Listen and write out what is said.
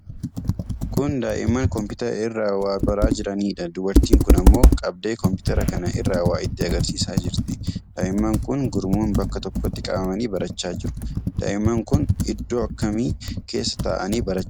Kun daa'imman kompiitara irraa waa baraa jiraniidha. Dubartiin kun ammoo qabdee kompiitara kana irraa waa itti agarsiisaa jirti. Daa'imman kun gurmuun bakka tokkotti qabamanii barachaa jiru. Daa'imman kun iddoo akkamii keessa taa'anii barachaa jiru?